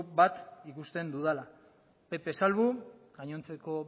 bat ikusten dudala pp salbu gainontzeko